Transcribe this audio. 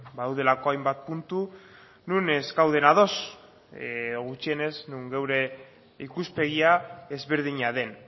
badaudelako hainbat puntu non ez gauden ados edo gutxienez non geure ikuspegia ezberdina den